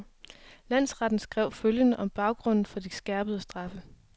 Landsretten skrev følgende om baggrunden for de skærpede straffe.